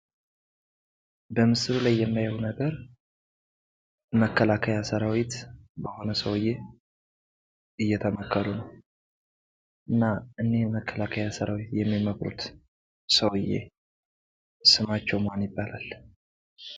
በምስሉ ላይ የምናየው ነገር መከላከያ ሰራዊት በሆነ ስዉየ እየተመከሩ ነው። እና እኒህን መከላከያ ሰራዊት እየመከረ ያለው ሰዉየ ስማቸው ማን ይባላል?